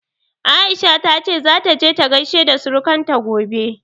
Aisha ta ce zata je ta gaishe da surukanta gobe.